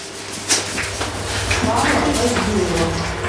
павла поздеева